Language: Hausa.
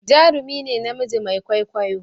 jarumi ne namiji Mai kwaikwayo